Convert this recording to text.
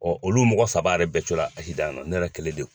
Ɔ olu mɔgɔ saba yɛrɛ bɛɛ cola akisidan na, ne yɛrɛ kɛlen dɔrɔnwn.